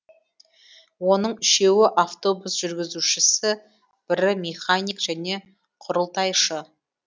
оның үшеуі автобус жүргізушісі бірі механик және құрылтайшы